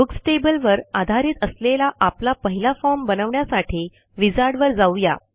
books table वर आधारित असलेला आपला पहिला फॉर्म बनवण्यासाठी विझार्ड वर जाऊ या